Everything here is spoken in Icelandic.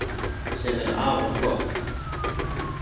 Sem er afar gott